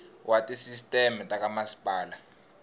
wa tisisteme ta ka masipala